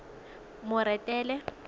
moretele